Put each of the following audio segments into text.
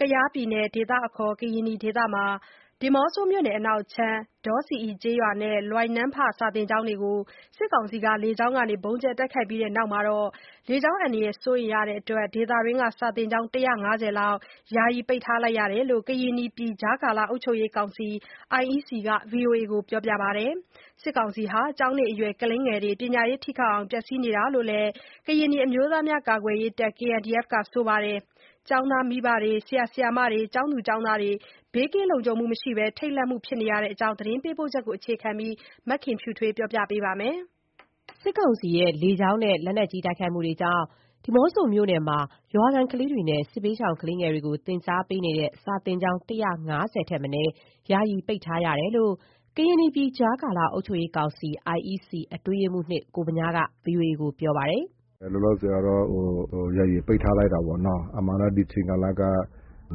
ကယားပြည်နယ်၊ ဒေသအခေါ် ကရင်နီနယ်၊ ဒီးမော့ဆိုမြို့နယ်အနောက်ခြမ်း ဒေါဆီအီ ကျေးရွာနဲ့ လွိုင်နန်းဖ စာသင်ကျောင်းတွေ လေကြောင်းကနေ ဗုံးကြဲ တိုက်ခိုက်ရပြီးနောက် ဒေသတွင်းက စာသင်ကျောင်း ၁၅၀ လောက် ယာယီပိတ်ထားရတယ်လို့ ကရင်နီပြည် ကြားကာလ အုပ်ချုပ်ရေးကောင်စီ က ဗွီအိုအေကို ပြောပါတယ်။ စစ်ကောင်စီဟာ ကျောင်းနေအရွယ်ကလေးတွေ ပညာရေးထိခိုက်အောင် ဖျက်ဆီးနေတာလို့ ကရင်နီအမျိုးသားများကာကွယ်ရေးတပ် ကပြောပါတယ်။ ကျောင်းသားမိဘနဲ့ ကျောင်းသားကျောင်းသူတွေ ဘေးကင်းလုံခြုံမှုမရှိဘဲ ထိတ်လန့်နေတဲ့ အကြောင်း သတင်းပေးပို့ချက်ကို အခြေခံပြီး မခင်ဖြူထွေးက တင်ပြထားပါတယ်။ စစ်ကောင်စီရဲ့ လေကြောင်းနဲ့ လက်နက်ကြီး တိုက်ခိုက်မှုတွေကြောင့် ဒီးမော့ဆိုမြို့နယ်မှာ ရွာခံကလေးတွေနဲ့ စစ်ဘေးရှောင်ကလေးတွေကို သင်ကြားပေးနေတဲ့ စာသင်ကျောင်း ၁၅၀ ထက်မနည်း ယီယာ ပိတ်ထားရတယ်လို့ ကရင်နီပြည် ကြာကာလ အုပ်ချုပ်ရေးကောင်စီ အတွင်းရေးမှူး ကိုဗညားက ဗွီအိုအေကို ပြောပါတယ်။ “လောလောဆယ်ကတော့ ယာယီပိတ်ထားလိုက်တာပေါ့နော်။ အမှန်တော့ ဒီချိန်ကာလက မ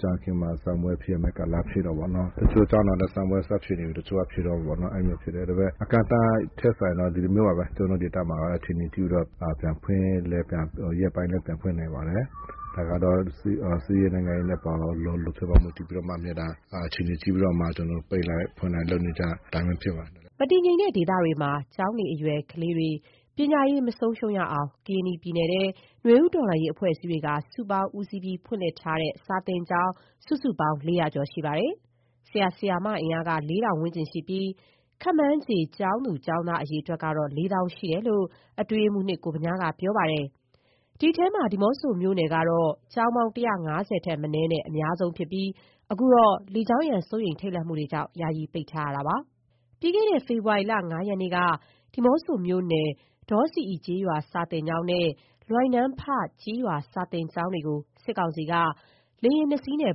ကြာခင်မှာ စာမေးပွဲ စရမယ့်ကာလ ဖြစ်တာပေါ့နော်။ တချို့ကျောင်းတွေတော့လည်း စာမေးပွဲ စဖြေနေပြီ၊ တချို့က ဖြေတုန်းပေါ့နော်။ အဲ့လိုမျိုးဖြစ်တယ်။ အကန့်အသတ်ထက်စာရင် ဒီလိုမျိုးပါပဲ ကျနော်တို့ ဒေသမှာက အခြေအနေကြည့်ပြီးတော့ ရက်ပိုင်းလည်း ပြန်ဖွင့်နိုင်ပါတယ်။ ဒါကတော့ စစ်ရေး နိုင်ငံရေးအရ လုံခြုံရေးအပေါ်မူတည်ပြီးတော့ အခြေအနေကြည့်ပြီးတော့မှ ကျနော် ပိတ်လိုက်၊ ဖွင့်လိုက် လုပ်နေကျအတိုင်းပဲ ဖြစ်ပါတယ်။” မတည်ငြိမ်တဲ့ဒေသတွေမှာ ကျောင်းနေအရွယ် ကလေးတွေ ပညာရေးမဆုံးရှုံးအောင် ကရင်နီပြည်နယ်ထဲ နွေဦးတော်လှန်ရေး အဖွဲ့အစည်းတွေက စုပေါင်းဦးစီးပြီး ဖွင့်ပေးထားတဲ့ စာသင်ကျောင်း စုစုပေါင်း ၄၀၀ ကျော်ရှိပါတယ်။ ဆရာ၊ ဆရာမ အင်အားက လေးထောင် ဝန်းကျင်ရှိပြီး ခန့်မှန်းခြေ ကျောင်းသူ၊ ကျောင်းသား အရေအတွက်ကတော့ လေးသောင်း ရှိတယ်လို့ အတွင်းရေးမှူး ကိုဗညားက ပြောပါတယ်။ အဲ့ဒီထဲမှာ ဒီးမော့ဆိုမြို့နယ်ကတော့ ကျောင်းပေါင်း ၁၅၀ ထက်မနည်း အများဆုံးဖြစ်ပြီး အခုတော့ လေကြောင်းရန် စိုးရိမ် ထိတ်လန့်မှုကြောင့် ယာယီ ပိတ်ထားရတာပါ။ ပြီးခဲ့တဲ့ ဖေဖော်ဝါရီလ ၅ရက်နေ့က ဒီးမော့ဆိုမြို့နယ် ဒေါဆီအီ ကျေးရွာ စာသင်ကျောင်းနဲ့ လွိုင်နန်းဖ ကျေးရွာ စာသင်ကျောင်းတွေကို စစ်ကောင်စီက လေယာဉ် ၂စင်းနဲ့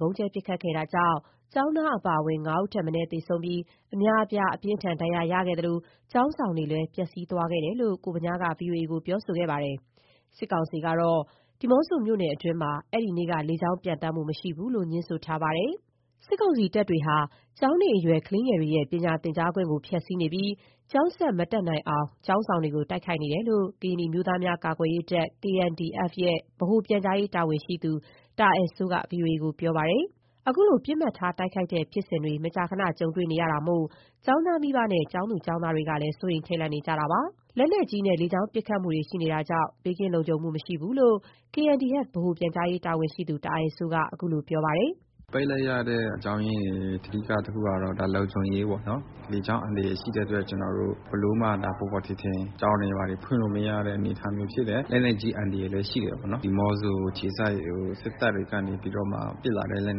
ဗုံးကြဲပစ်ခတ်ခဲ့တာကြောင့် ကျောင်းသားအပါအဝင် ၅ ဦးထက်မနည်း သေဆုံးပြီး အများအပြား အပြင်းအထန် ဒဏ်ရာရရှိခဲ့သလို ကျောင်းဆောင်တွေလည်း ပျက်ဆီးသွားတယ်လို့ ကိုဗညားက ဗွီအိုအေကို ပြောထားပါတယ်။ စစ်ကောင်စီကတော့ ဒီးမော့ဆိုမြို့နယ်အတွင်းမှာ အဲ့ဒီနေ့က လေကြောင်းပျံသန်းမှု မရှိဘူးလို့ ငြင်းဆိုထားပါတယ်။ စစ်ကောင်စီတပ်တွေက ကျောင်းနေအရွယ် ကလေးသူငယ်တွေ ပညာသင်ကြားခွင့်ကို ဖျက်စီးနေပြီး ကျောင်းဆက်မတက်နိုင်အောင် ကျောင်းဆောင်တွေကို တိုက်ခိုက်နေတာလို့ ကရင်နီအမျိုးသားများကာကွယ်ရေးတပ် ဗဟိုပြန်ကြားရေးတာဝန်ရှိသူ တာအယ်စိုး က ဗွီအိုအေကို ပြောပါတယ်။ အခုလို ပစ်မှတ်ထားတိုက်ခိုက်ခံနေရတဲ့ဖြစ်စဉ်ဟာ မကြာခဏကြုံတွေ့ခဲ့ရတာမို့ ကျောင်းသားမိဘနဲ့ ကျောင်းသူ၊ကျောင်းသားတွေက စိုးရိမ်ကြောက်လန့်နေကြတာပါ။ လက်နက်ကြီးနဲ့ လေကြောင်းပစ်ခတ်မှုကြောင့် ဘေးကင်းလုံခြုံမှုမရှိလို့ KNDF) ဗဟိုပြန်ကြားရေးတာဝန်ရှိသူ တာအယ်စိုးက ခုလို ပြောပါတယ်။ “ပိတ်လိုက်ရတဲ့ အကြောင်းအရင်းတွေ အဓိကတခုက လုံခြုံရေးပေါ့နော်။ လေကြောင်း အန္တရာယ်ရှိတဲ့အတွက် ကျနော်တို့ ဘယ်လိုမှ ပေါ်ပေါ်ထင်ထင် ကျောင်းတွေဖွင့်လို့မရတဲ့ အနေအထားမျိုးဖြစ်တယ်။ လက်နက်ကြီး အန္တရာယ်လည်း ရှိတယ်ပေါ့နော်။ ဒီးမော့ဆို အခြေစိုက် စစ်တပ်ကနေပြီးတော့မှ ပစ်လာတဲ့ လက်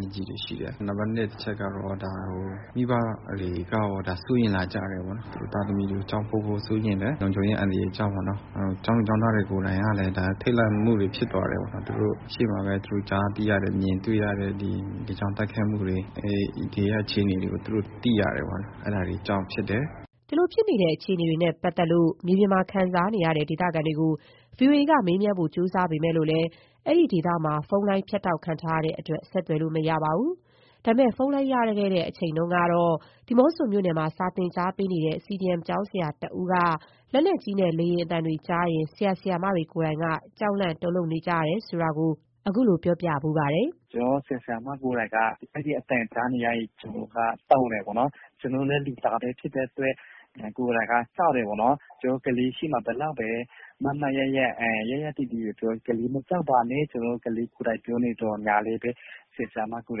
နက်ကြီးတွေရှိတယ်။ နံပါတ် တစ်ချက်က ဒါမိဘတွေက ဒါစိုးရိမ်လာကြတယ်ပေါ့နော်။ သားသမီးတွေကို ကျောင်းပို့ဖို့ စိုးရိမ်တယ်။ လုံခြုံရေး အန္တရာယ်ကြောင့် ကျောင်းသူ၊ ကျောင်းသားကိုယ်တိုင်ကလည်း ဒါထိတ်လန့်မှုတွေ ဖြစ်သွားတယ်။ သူတို့ရှေ့မှာပဲ သူတို့ကြားသိရတယ်၊ မြင်တွေ့ရတဲ့ ဒီ လေကြောင်းတိုက်ခိုက်မှုတွေ ဒီကအခြေအနေတွေ သူတို့သိရတယ်ပေါ့နော်၊ အဲ့ဒါတွေကြောင့် ဖြစ်တယ်။” အခုလိုဖြစ်နေတဲ့ အခြေအနေတွေနဲ့ ပတ်သက်လို့ မြေပြင်မှာ ခံစားနေရတဲ့ ဒေသခံတွေကို ဗွီအိုအေက မေးမြန်းဖို့ ကြိုးစားခဲ့ပေးမယ့် အဲ့ဒီဒေသမှာ ဖုန်းလိုင်း ဖြတ်တောက်ခံထားရတဲ့အတွက် ဆက်သွယ်လို့မရပါဘူး။ ဒါပေမယ့် ဖုန်းလိုင်းရခဲ့တဲ့ အချိန်တုန်းက ဒီးမော့ဆိုမြို့နယ်မှာ စာသင်ကြားပေးနေတဲ့ CDM ကျောင်းဆရာတဦးကတော့ လက်နက်ကြီးနဲ့ လေယာဉ်အသံတွေ ကြားရင် ဆရာ၊ ဆရာမတွေ ကိုယ်တိုင်က ကြောက်လန့် တုန်လှုပ်နေကြတယ်လို့ အခုလို ပြောပြဖူးပါတယ်။ “ကျနော်တို့ ဆရာ၊ ဆရာမတွေ ကိုယ်တိုင်က အဲ့ဒီအသံကြားနေရရင် ကိုယ်က တုန်တယ်ပေါ့နော်။ ကျနော်တို့လည်း လူသားပဲ ဖြစ်တဲ့အတွက် ကိုယ်တိုင်က ကြောက်တယ်ပေါ့နော်။ ကျနော်တို့ ကလေးရှေ့မှာ ဘယ်လောက်ပဲ မားမားမတ်မတ် ရပ်တည်ပြီး ပြောတယ်၊ ကလေးမကြောက်ပါနဲ့၊ ကျနော်တို့ကလေးတွေကို ကိုယ်တိုင် ပြောနေသော်ငြားလည်းပဲ ဆရာ၊ ဆရာမတွေကို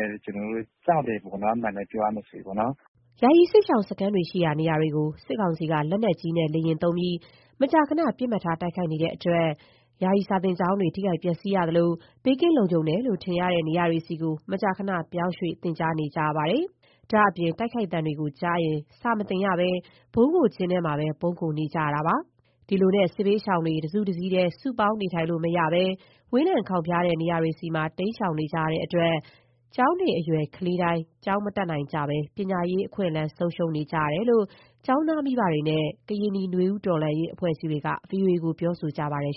ယ်တိုင် ကျနော်တို့ ကြောက်တယ်ပေါ့နော်။ အမှန်အတိုင်း ပြောရမယ်ဆိုရင်မယ်ပေါ့နော်။” ယာယီစစ်ရှောင်စခန်းတွေရှိရာ နေရာတွေကို စစ်ကောင်စီက လက်နက်ကြီးနဲ့ လေယာဉ်သုံးပြီး မကြာမကြာ ပစ်မှတ်ထား တိုက်ခိုက်နေတဲ့အတွက် ယာယီကျောင်းတွေ ထိခိုက်ပျက်စီးရသလို ဘေးကင်းလုံခြုံတယ်လို့ ထင်ရတဲ့ နေရာဆီ မကြာခဏ ပြောင်းရွှေ့ သင်ကြားနေကြရပါတယ်။ ဒါ့အပြင် တိုက်ခိုက်သံတွေကြားရင် စာမသင်ရပဲ ဗုံးခိုကျင်းမှာ ပုန်းခိုနေကြရပါတယ်။ ဒီလိုနဲ့ စစ်ဘေးရှောင်တွေ တစုတစည်းတည်း စုပေါင်းနေထိုင်လို့ မရဘဲ ဝေးလံခေါင်ဖျားတဲ့ နေရာတွေဆီ တိမ်းရှောင်နေကြရတဲ့အတွက် ကျောင်းနေအရွယ် ကလေးတိုင်း ကျောင်းမတက်ရဘဲ ပညာရေး ဆုံးရှုံးနေရတယ်လို့ ကျောင်းသားမိဘတွေနဲ့ ကရင်နီနွေဦးတော်လှန်ရေးအဖွဲ့အစည်းတွေက ဗွီအိုအေကို ပြောဆိုထားပါတယ်။